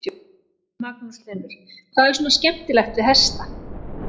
Magnús Hlynur: Hvað er svona skemmtilegt við hesta?